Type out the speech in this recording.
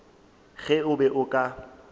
ge o be o ka